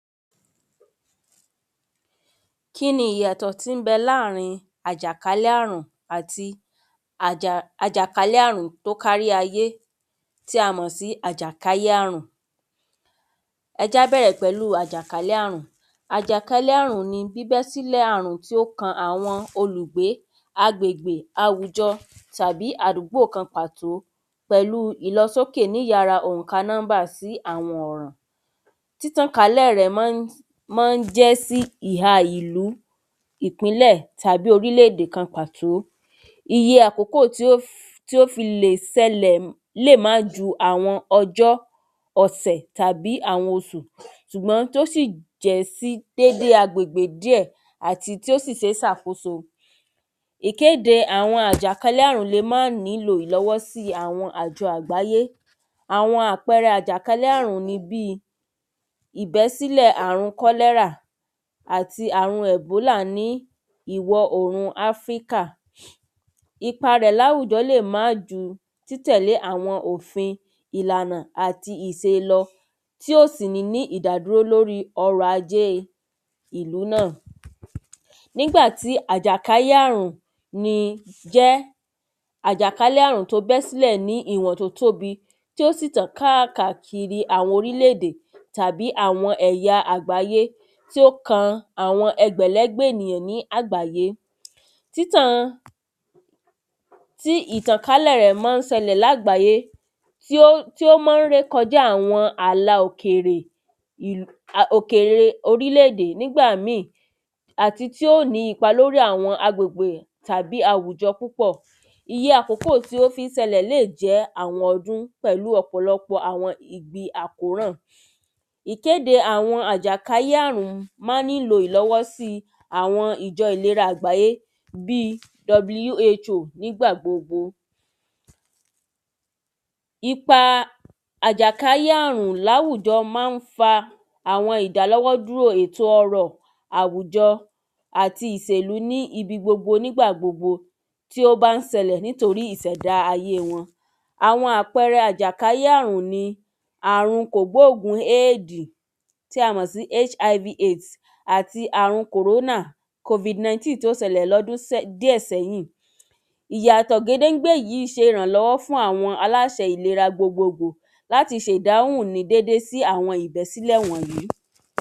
Kíni ìyàtọ̀ tí ń bẹ láàrin àjàkálé àrùn àti àjà àjàkálé àrùn tó kálé ayé tí a mọ̀ sí àjàkálé àrùn. Ẹ jẹ́ á bẹ̀rẹ̀ pẹ̀lú àjàkálé àrùn àjàkálé àrùn ni bíbẹ́sílẹ̀ àrùn tí ó kan àwọn olùgbé agbègbè àwùjọ tàbí àdúgbò kan pàtó pẹ̀lú ìlọsókè níyára ònka númbà sí àyàràn. Títàn kálẹ̀ rẹ̀ mọ́ ń jẹ́ sí ìha ìlú ìpínlẹ̀ tàbí orílè èdè kan pàtó iye àkókò tí ó fi lè ṣẹlẹ̀ lè má ju àwọn ọjọ́ ọ̀sẹ̀ tàbí àwọn osù ṣùgbọ́n tí ó sì jẹ́ sí agbègbè díẹ̀ tí ó sì ṣe sàkóso. Ìkéde àwọn àjákálé àrùn le má nílò ìlọ́wọ́sí àwọn àjọ àgbáyé àwọn àpẹrẹ àjàkálẹ́ àrùn ni bí ìbẹ́sílẹ̀ àrùn kọ́lẹ́rà àti àwọn ẹ̀bólà ní ìwọ̀ orùn áfríkà ipa rẹ̀ láwùjọ lè má ju títẹ̀lé àwọn òfin ìlànà àti ìselọ tí ó sì ní ní ìdádúró lórí ọrọ̀ ajé ìlú náà. Nígbàtí àjàkáyé àrùn jẹ́ àjàkálé àrùn bẹ́ sílẹ̀ ní ìwọ̀n tó tóbi tí ó sì tàn káàkàkiri àwọn orílè èdè tàbí àwọn èyà àgbáyé tó kan àwọn ẹgbẹ̀lẹ́gbẹ̀ ènìyàn lágbàyé. títàn tí ìtànkálẹ̀ rẹ̀ má ń sẹlẹ̀ lágbáyé tí ó má ń rékọjá àwọn àlà òkèrè òkèrè orílé èdè nígbà míì àti tí ó ní ipa lórí àwọn agbègbè tàbí àwùjọ púpọ̀ iye àkókò tí ó fí ń ṣẹlẹ̀ lè jẹ́ àwọn ọdún pẹ̀lú ọ̀pọ̀lọpọ̀ àwọn ibi àkóràn. Ìkéde àwọn àjàkáyé àrùn má ń nílò ìlọ̀wọ́sí àwo ìjọ ìlera àgbáyé bí who. Ipa àjàkáyé àrùn láwùjọ má ń fa àwọn ìdàlọ́wọ́ dúró ètò ọrọ̀ àwùjọ àti ìsèlú níbi gbogbo nígbà gbogbo tí ó bá ń sẹlẹ nítorí ìsẹ̀dá ayé wọn. Àwọn àpẹrẹ àjàkáyé àrùn ni àrùn kògbógùn aid tí a mọ̀ sí hiv/aids àti àrùn kòrónà covid nineteen tó ṣẹlẹ̀ lọ́dún díẹ̀ sẹ́yìn ìyàtọ̀ gédéńgbé yìí ṣe ìrànlọ́wọ́ fún àwọn aláṣe ìlera gbogbo gbò láti se ìdáhùn ní dédé sí àwọn ìbẹ́sílẹ̀ wọ̀nyìí.